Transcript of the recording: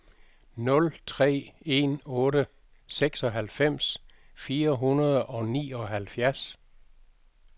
nul tre en otte seksoghalvfems fire hundrede og nioghalvfjerds